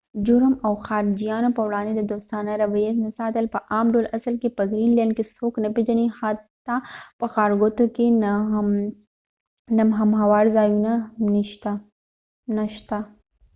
جرم او د خارجېانو په وړاندي د دوستانه رويه نه ساتل په عام ډول اصل کې په ګرین لینډ کې څوک نه پیژنی حتی په ښارګوټو کې نمهمواره ځایونه نه شته